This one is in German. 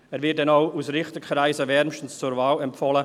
Er wird denn auch aus Richterkreisen wärmstens zur Wahl empfohlen.